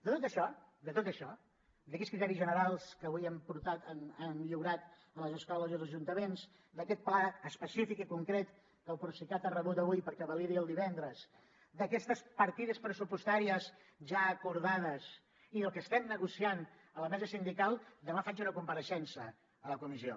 de tot això de tot això d’aquests criteris generals que avui hem lliurat a les escoles i als ajuntaments d’aquest pla específic i concret que el procicat ha rebut avui perquè validi el divendres d’aquestes partides pressupostàries ja acordades i del que estem negociant a la mesa sindical demà faig una compareixença a la comissió